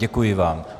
Děkuji vám.